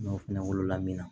N'o fɛnɛ wolola min na